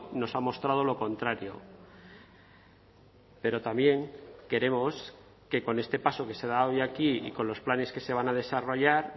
nos ha mostrado lo contrario pero también queremos que con este paso que se da hoy aquí y con los planes que se van a desarrollar